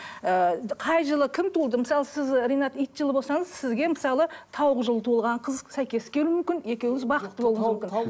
ыыы қай жылы кім туды мысалы сіз ринат ит жылы болсаңыз сізге мысалы тауық жылы туылған қыз сәйкес келуі мүмкін екеуіңіз бақытты болуыңыз мүмкін